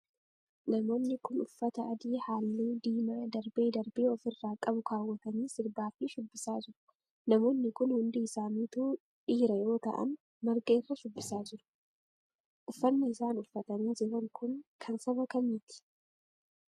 Namoonni kun, uffata adii haalluu diimaa darbee darbee of irraa qabu kaawwatanii sirbaa fi shubbisaa jru. Namoonni kun ,hundi isaanituu dhiira yoo ta'an marga irra shubbisaa jiru, Uffanni isaan uffatanii jiran kun, kan saba kamiiti.